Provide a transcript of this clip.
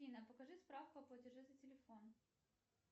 афина покажи справку о платеже за телефон